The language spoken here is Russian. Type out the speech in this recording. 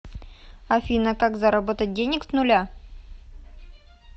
афина как заработать денег с нуля